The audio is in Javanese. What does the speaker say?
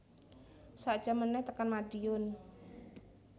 Sak jam meneh tekan Madiun